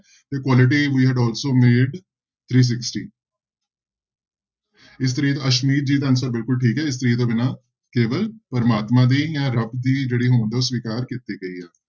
Quality made also made three sixty ਇਸਤਰੀ ਅਸਮੀਤ ਜੀ ਦਾ answer ਬਿਲਕੁਲ ਠੀਕ ਹੈ ਇਸਤਰੀ ਤੋਂ ਬਿਨਾਂ ਕੇਵਲ ਪ੍ਰਮਾਤਮਾ ਦੀ ਜਾਂ ਰੱਬ ਦੀ ਜਿਹੜੀ ਹੋਂਦ ਹੈ ਉਹ ਸਵਿਕਾਰ ਕੀਤੀ ਗਈ ਹੈ।